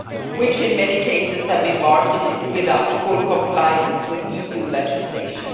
which in many cases have been marketed without full compliance with EU legislation.